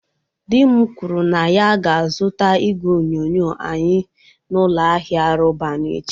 Di m kwuru na ya ga-azụta igwe onyonyo anyị n'ụlọ ahịa Roban echi.